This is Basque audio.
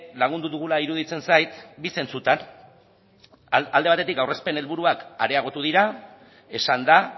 lagundu dugula iruditzen zait bi zentzutan alde batetik aurrezpen helburuak areagotu dira esan da